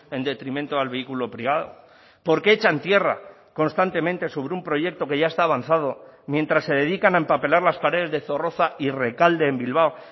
en detrimento al vehículo privado por qué echan tierra constantemente sobre un proyecto que ya está avanzado mientras se dedican a empapelar las paredes de zorroza y rekalde en bilbao